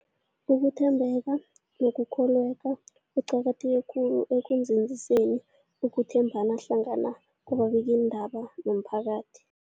Ukuthembeka nokukholweka kuqakatheke khulu ekunzinziseni ukuthembana hlangana kwababikiindaba nomphakathi.